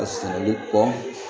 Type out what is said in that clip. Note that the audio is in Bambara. A sɛnɛli kɔ